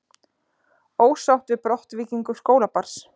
Ósátt við brottvikningu skólabarns